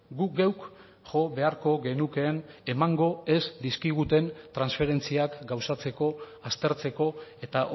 guk geuk jo beharko genukeen emango ez dizkiguten transferentziak gauzatzeko aztertzeko eta